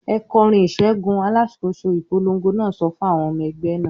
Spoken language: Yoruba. "Ẹ kọrin ìṣẹ́gun!" Alákòóso ìpolongo náà sọ fún àwọn ọmọ ẹgbẹ́ náà.